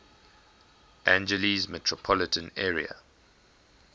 angeles metropolitan area